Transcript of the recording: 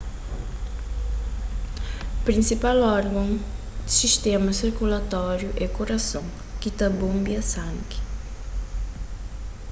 prinsipal orgon si sistéma sirkulatóriu é kurason ki ta bonbia sangi